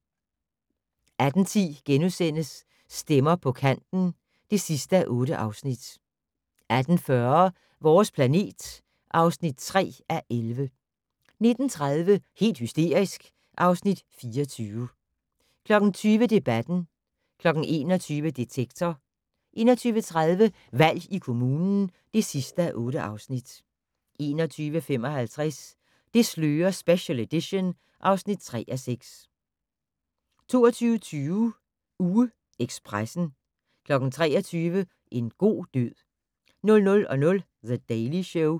18:10: Stemmer på kanten (8:8)* 18:40: Vores planet (3:11) 19:30: Helt hysterisk (Afs. 24) 20:00: Debatten 21:00: Detektor 21:30: Valg i kommunen (8:8) 21:55: Det slører special edition (3:6) 22:20: UgeEkspressen 23:00: En god død 00:00: The Daily Show